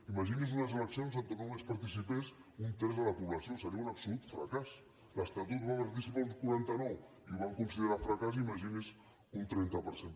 imagini’s unes eleccions on només participés un terç de la població seria un absolut fracàs a l’estatut hi va participar un quaranta nou i ho van considerar un fracàs imagini’s un trenta per cent